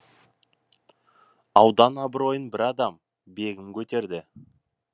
аудан абыройын бір адам бегім көтерді